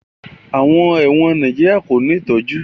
Àwọn ẹ̀wọ̀n Nàìjíríà kò ní ìtọ́jú